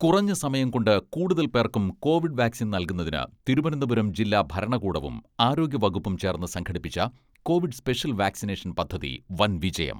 കുറഞ്ഞ സമയംകൊണ്ട് കൂടുതൽ പേർക്കും കോവിഡ് വാക്സിൻ നൽകുന്നതിന് തിരുവനന്തപുരം ജില്ലാ ഭരണകൂടവും ആരോഗ്യ വകുപ്പും ചേർന്ന് സംഘടിപ്പിച്ച കോവിഡ് സ്പെഷ്യൽ വാക്സിനേഷൻ പദ്ധതി വൻ വിജയം.